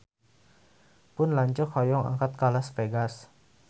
Pun lanceuk hoyong angkat ka Las Vegas